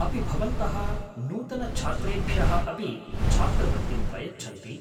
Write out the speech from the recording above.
अपि भवन्तः नूतनछात्रेभ्यः अपि छात्रवृत्तिं प्रयच्छन्ति?